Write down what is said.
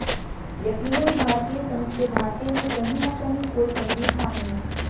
यकीनन भारतीय संघ के ढांचे में कहीं न कहीं कोई गंभीर खामी है